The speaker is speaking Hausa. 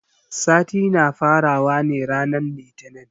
Sati na fara wa ne ranan litinin.